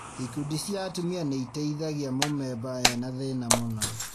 Ikundi cia atumia nĩitethagia mũmemba ena thĩna mũna